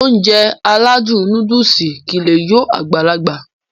Ounjẹ aládùn nóódùsì kìí lé yó Agbalaga